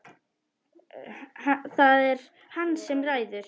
Það er hann sem ræður.